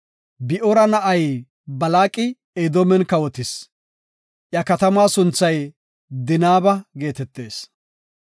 Bi7oora na7ay Balaaqi Edoomen kawotis; iya katamaa sunthay Dinaaba geetetees.